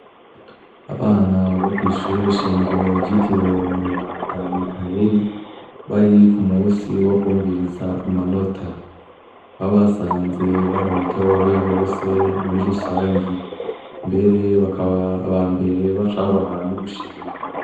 Abana bokwishure shingiro ryitiriwe umweranda Mikayeri, barikumusi wokwumviriza amanota, aho basanze baritoye Bose muri rusangi mbere bakaba abambere baca babaha n'ubushimwe